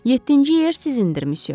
Yeddinci yer sizindir, missyo.